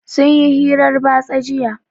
Sun yi hirar batsa jiya.